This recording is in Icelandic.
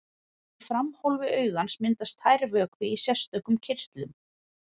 Í framhólfi augans myndast tær vökvi í sérstökum kirtlum.